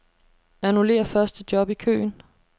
Annullér første job i køen.